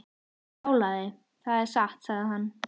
Brjálæði, það er satt sagði hann.